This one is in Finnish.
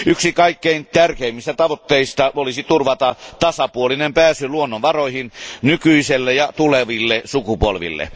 Yksi kaikkein tärkeimmistä tavoitteista olisi turvata tasapuolinen pääsy luonnonvaroihin nykyiselle ja tuleville sukupolville.